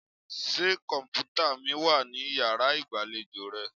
Ṣé kọ̀m̀pútà mi wà ní yàrá ìgbàlejò rẹ?